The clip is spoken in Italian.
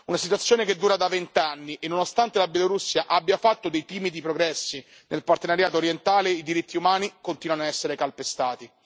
Una situazione che dura da vent'anni e, nonostante la Bielorussia abbia fatto dei timidi progressi nel partenariato orientale, i diritti umani continuano ad essere calpestati.